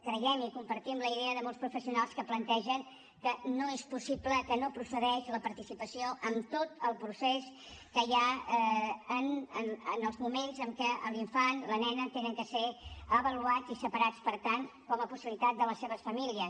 creiem i compartim la idea de molts professionals que plantegen que no és possible que no procedeix la participació en tot el procés que hi ha en els moments en què l’infant la nena han de ser avaluats i separats per tant com a possibilitat de les seves famílies